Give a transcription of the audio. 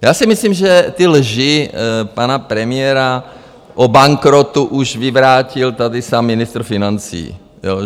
Já si myslím, že ty lži pana premiéra o bankrotu už vyvrátil tady sám ministr financí.